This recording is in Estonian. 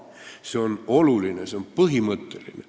See on oluline, see on põhimõtteline.